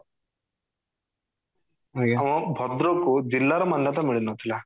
ଭଦ୍ରକ କୁ ଜିଲ୍ଲା ର ମାନ୍ୟତା ମିଳିନଥିଲା